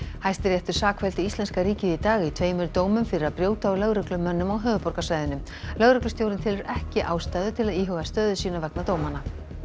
Hæstiréttur sakfelldi íslenska ríkið í dag í tveimur dómum fyrir að brjóta á lögreglumönnum á höfuðborgarsvæðinu lögreglustjórinn telur ekki ástæðu til að íhuga stöðu sína vegna dómanna